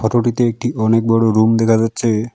একটি অনেক বড় রুম দেখা যাচ্ছে।